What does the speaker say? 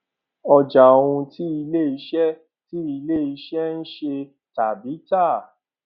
ọjà ohun tí ilé iṣẹ tí ilé iṣẹ ń ṣe tàbí tà